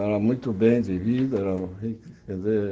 Era muito bem de vida. Era